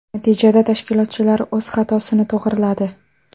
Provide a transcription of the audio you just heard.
Natijada tashkilotchilar o‘z xatosini to‘g‘riladi.